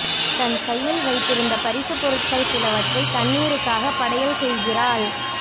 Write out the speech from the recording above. தன் கையில் வைத்திருந்த பரிசு பொருட்கள் சிலவற்றை தண்ணீருக்காக படையல் செய்கிறாள்